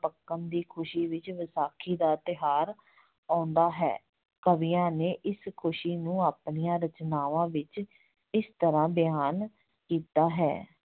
ਪੱਕਣ ਦੀ ਖੁਸੀ ਵਿੱਚ ਵਿਸਾਖੀ ਦਾ ਤਿਉਹਾਰ ਆਉਂਦਾ ਹੈ, ਕਵੀਆਂ ਨੇ ਇਸ ਖੁਸੀ ਨੂੰ ਆਪਣੀਆਂ ਰਚਨਾਵਾਂ ਵਿੱਚ ਇਸ ਤਰ੍ਹਾਂ ਬਿਆਨ ਕੀਤਾ ਹੈ,